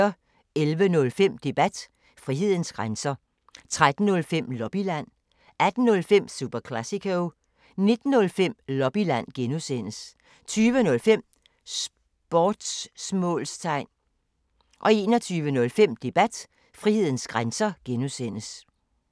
11:05: Debat: Frihedens grænser 13:05: Lobbyland 18:05: Super Classico 19:05: Lobbyland (G) 20:05: Sportsmålstegn 21:05: Debat: Frihedens grænser (G)